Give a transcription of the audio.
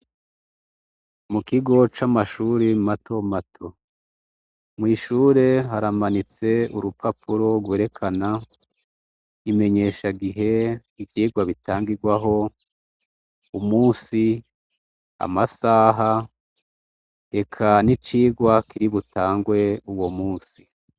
Mu kigo c'amashure matomato. Mw'ishure haramanitse urupapuro rwerekana imenyeshagihe, ivyigwa bitangigwaho, umunsi, amasaha eka n'icigwa kiri butangwe uwo munsi.